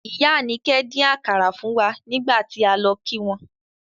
Ìyá Anike dín àkàrà fún wa nígbà tí a lọ kí wọn.